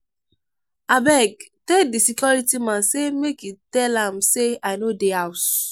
abeg tell di security man sey make e tell am sey i no dey house.